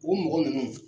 U mɔgɔ ninnu